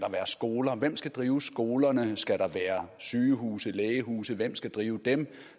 skoler hvem skal drive skolerne skal der være sygehuse lægehuse hvem skal drive dem